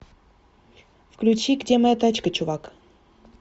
включи где моя тачка чувак